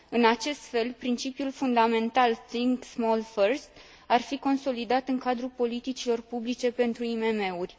În acest fel, principiul fundamental think small first ar fi consolidat în cadrul politicilor publice pentru IMM uri.